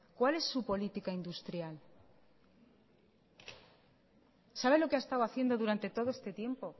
cuál es su política industrial sabe lo que ha estado haciendo durante todo este tiempo